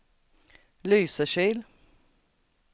Lysekil